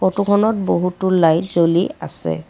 ফটোখনত বহুতো লাইট জ্বলি আছে।